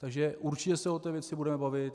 Takže určitě se o té věci budeme bavit.